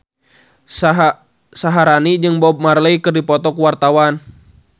Syaharani jeung Bob Marley keur dipoto ku wartawan